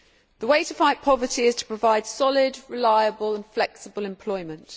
The way to fight poverty is to provide solid, reliable and flexible employment.